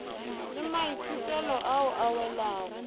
le maithutelo ao a welago